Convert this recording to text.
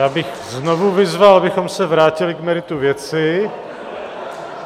Já bych znovu vyzval, abychom se vrátili k meritu věci.